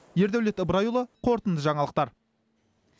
ердәулет ыбырайұлы қорытынды жаңалықтар